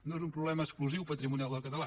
no és un problema exclusiu patrimonial del català